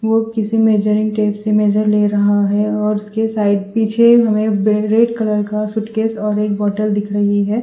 वो किसी नज़र ले रहा है और उसके साइड पीछे हमे रेड कलर का सूटकेस और एक बोटल दिख रही है।